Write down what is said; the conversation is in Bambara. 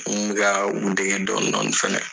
N kun bɛ ka u dege dɔni dɔni fɛnɛ.